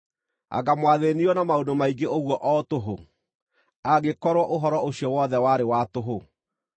Anga mwathĩĩnirio na maũndũ maingĩ ũguo o tũhũ, angĩkorwo ũhoro ũcio wothe warĩ wa tũhũ?